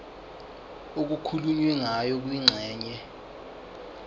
okukhulunywe ngayo kwingxenye